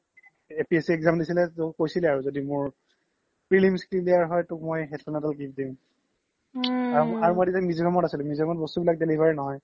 APSC exam দিছিলে য্দি মোৰ prelims clear হয় তোক মই headphone এদাল কিনি দিম আৰু মই তেতিয়া মিজোৰাম ত আছিলো মিজোৰাম ত বস্তু বোৰ delivery নহয়